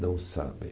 Não sabem.